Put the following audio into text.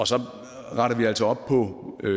så retter vi altså op på hvad